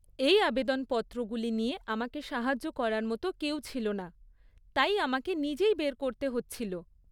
এই আবেদনপত্রগুলি নিয়ে আমাকে সাহায্য করার মতো কেউ ছিল না, তাই আমাকে নিজেই বের করতে হচ্ছিল।